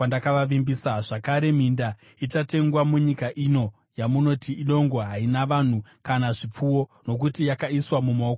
Zvakare, minda ichatengwa munyika ino yamunoti, ‘Idongo, haina vanhu kana zvipfuwo, nokuti yakaiswa mumaoko avaBhabhironi.’